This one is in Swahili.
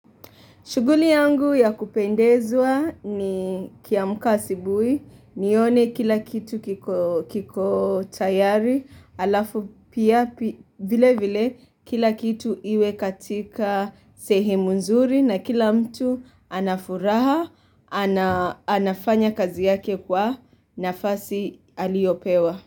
Shuguli yangu ya kupendezwa nikiamka asibuhi, nione kila kitu kiko tayari, alafu pia vile vile kila kitu iwe katika sehemu nzuri na kila mtu anafuraha, anafanya kazi yake kwa nafasi aliopewa.